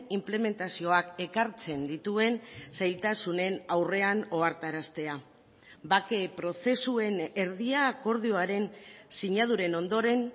inplementazioak ekartzen dituen zailtasunen aurrean ohartaraztea bake prozesuen erdia akordioaren sinaduren ondoren